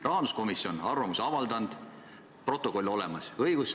Rahanduskomisjon on oma arvamuse avaldanud, protokoll on olemas.